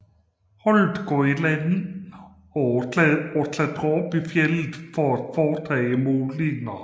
Holdet går i land og klatrer op i fjeldet for at foretage målinger